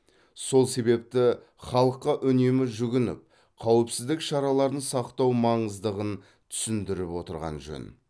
сол себепті халыққа үнемі жүгініп қауіпсіздік шараларын сақтау маңыздығын түсіндіріп отырған жөн